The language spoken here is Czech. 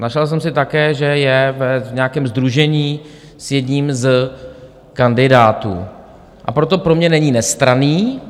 Našel jsem si také, že je v nějakém sdružení s jedním z kandidátů, a proto pro mě není nestranný.